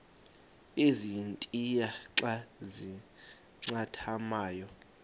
ezintia xa zincathamayo